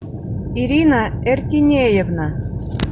ирина эртинеевна